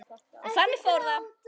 Og þannig fór það.